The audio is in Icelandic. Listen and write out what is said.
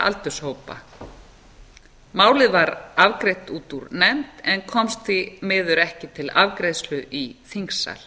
aldurshópa málið var afgreitt út úr nefnd en komst því miður ekki til afgreiðslu í þingsal